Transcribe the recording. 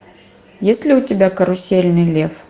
есть ли у тебя карусельный лев